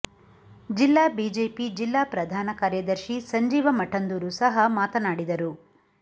ಜಿಲ್ಲಾ ಬಿಜೆಪಿ ಜಿಲ್ಲಾ ಪ್ರಧಾನ ಕಾರ್ಯದರ್ಶಿ ಸಂಜೀವ ಮಠಂದೂರು ಸಹ ಮಾತನಾಡಿದರು